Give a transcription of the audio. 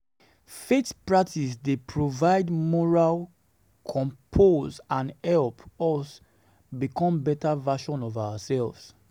Faith practices dey provide moral um compass and help us become better versions of ourselves.